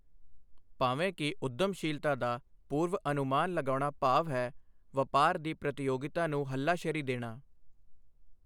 ਭਾਵੇਂ ਕਿ ਉੱਦਮਸ਼ੀਲਤਾ ਦਾ ਪੂਰਵਅਨੁਮਾਨ ਲਗਾਉਣ ਦਾ ਭਾਵ ਹੈ ਵਪਾਰ ਦੀ ਪ੍ਰਤੀਯੋਗਿਤਾ ਨੂੰ ਹੱਲਾਸ਼ੇਰੀ ਦੇਣਾ।